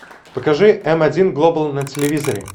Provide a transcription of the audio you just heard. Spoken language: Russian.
покажи м один глобал на телевизоре